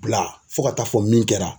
Bila fo ka taa fɔ min kɛra